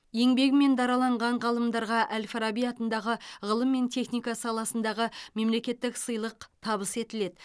еңбегімен дараланған ғалымдарға әл фараби атындағы ғылым мен техника саласындағы мемлекеттік сыйлық табыс етіледі